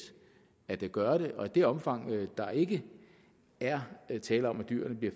at gøre det og i det omfang der ikke er tale om at dyrene bliver